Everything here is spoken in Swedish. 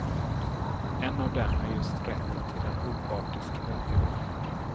En av dem är just rätten till en opartisk rättegång.